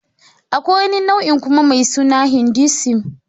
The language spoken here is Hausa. Akwai wani nau'in kuma mai suna Hinduism.